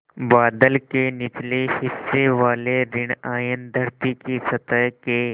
बादल के निचले हिस्से वाले ॠण आयन धरती की सतह के